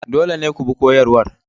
Dole ne ku bi koyarwar.